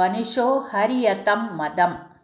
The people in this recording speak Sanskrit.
वनुषो हर्यतं मदम्